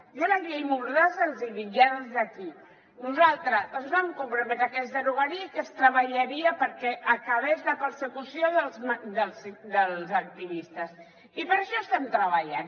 jo la llei mordassa els hi dic ja des d’aquí nosaltres ens vam comprometre que es derogaria i que es treballaria perquè acabés la persecució dels activistes i per això estem treballant